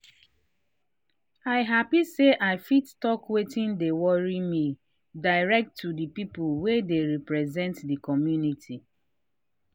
i happy say i fit talk watin dey worry me direct to the people wey dey represent the community.